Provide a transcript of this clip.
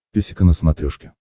песика на смотрешке